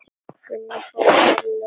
Gunni fór fyrir ljósið.